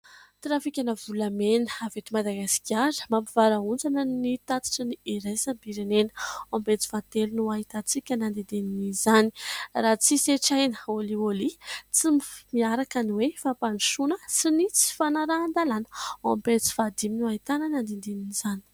Trafikana volamena avy eto Madagasikara. Mampivarahontsana ny tatitry ny iraisam-pirenena ao amin'ny pejy fahatelo ny ahitantsika ny andinindiny izany. Raha tsy hisetraina kolikoly tsy miaraka ny hoe fampandrosoana sy ny tsy fanarahan-dalàna ao amin'ny pejy fahadimy ny ahitana ny andinindiny izany.